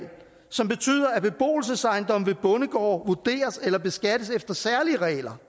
som betyder at beboelsesejendomme ved bondegårde vurderes eller beskattes efter særlige regler